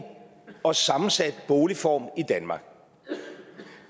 og sammensat boligform i danmark